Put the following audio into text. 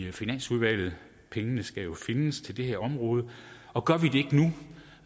i finansudvalget pengene skal jo findes til det her område og gør vi